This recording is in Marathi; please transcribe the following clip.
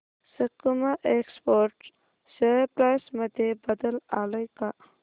सकुमा एक्सपोर्ट्स शेअर प्राइस मध्ये बदल आलाय का